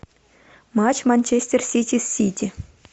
матч манчестер сити с сити